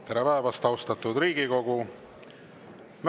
Tere päevast, austatud Riigikogu!